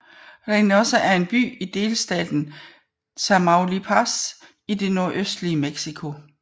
Reynosa er en by i delstaten Tamaulipas i det nordøstlige Mexico